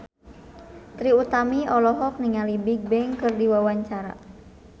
Trie Utami olohok ningali Bigbang keur diwawancara